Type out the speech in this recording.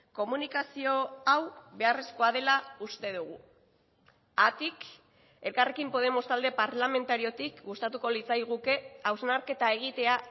komunikazio hau beharrezkoa dela uste dugu haatik elkarrekin podemos talde parlamentariotik gustatuko litzaiguke hausnarketa egitea